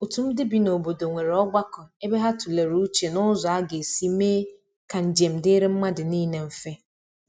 otu ndi bị n'obodo nwere ogbako ebe ha tulere uche n'ụzọ aga esi mee ka njem diri madu nile mfe.